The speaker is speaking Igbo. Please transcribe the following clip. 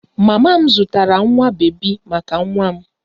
Mama m zụtara nwa bebi maka nwa m